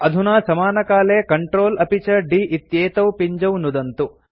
अधुना समानकाले Ctrl अपि च d इत्येतौ पिञ्जौ नुदन्तु